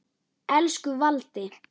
Elsku Valdi.